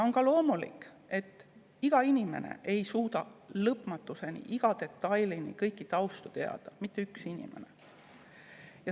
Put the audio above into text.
On loomulik, et inimene ei suuda lõpmatuseni, iga detailini kogu tausta teada, mitte ükski inimene.